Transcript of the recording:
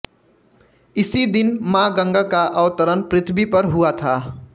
इसी दिन मां गंगा का अवतरण पृथ्वी पर हुआ था